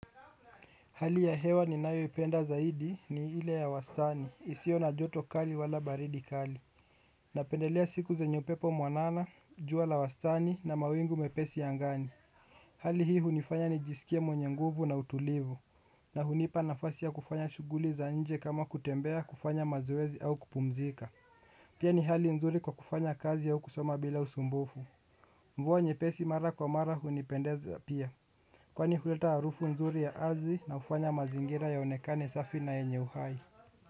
Hali ya hewa ni nayoipenda zaidi ni ile ya wastani isiyo na joto kali wala baridi kali. Napendelea siku zenye upepo mwanana jua la wastani na mawingu mepesi ya angani. Hali hii hunifanya nijisikie mwenye nguvu na utulivu. Na hunipa nafasi ya kufanya shughuli za nje kama kutembea kufanya mazoezi au kupumzika. Pia ni hali nzuri kwa kufanya kazi au kusoma bila usumbufu. Mvua nyepesi mara kwa mara hunipendeza pia. Kwani huleta harufu nzuri ya ardhi na hufanya mazingira ya onekane safi na yenye uhai.